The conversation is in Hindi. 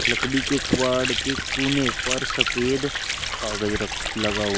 लकड़ी के कुवाड़ के कोने पर सफेद कागज लगा--